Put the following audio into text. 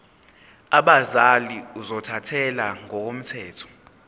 abazali ozothathele ngokomthetho